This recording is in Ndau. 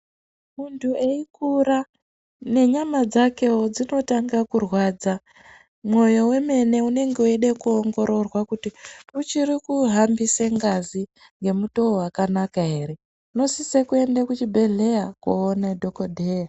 Muntu eikura nenyama dzakewo dzinotanga kurwadza, mwoyo wemene unenge weide kuongororwa kuti uchiri kuhambise ngazi nemutoo wakanaka here unosise kuende kuchibhedhleya koone dhokodheya.